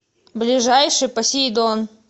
ближайший посейдон